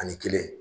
Ani kelen